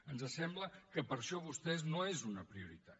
ens sembla que per a vostès això no és una prioritat